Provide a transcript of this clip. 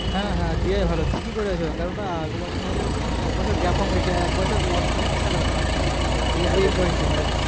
হ্যাঁ হ্যাঁ দেয়াই ভালো ঠিকই করেছো কেননা একটা বছর হলে এক বছর gap হয়ে গেছি আর এক বছর loss মানে বিশাল ব্যাপার এই এই বয়সে